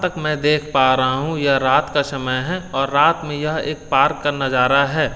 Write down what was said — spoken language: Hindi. तक मैं देख पा रहा हूं यह रात का समय है और रात में यह एक पार्क का नजारा है।